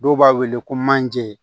Dɔw b'a wele ko manje